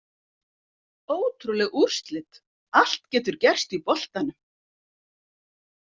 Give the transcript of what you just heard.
Ótrúleg úrslit, allt getur gerst í boltanum!